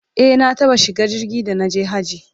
e na taɓa shiga jirgi da naje hajji